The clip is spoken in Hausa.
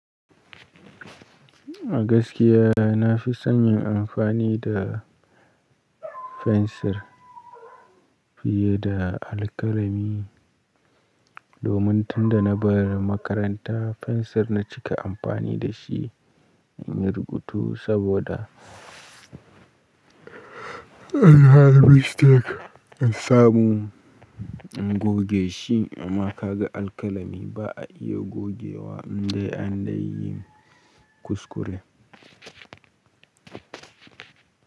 A gaskiya na fi son yin amfani da fensir fiye da alkalami. Domin tunda na bar makaranta fensir na cika amfani da shi in yi rubutu saboda anyi mistake an samu in goge shi amma ka ga alkalami ba a iya gogewa indai an deyi kuskure.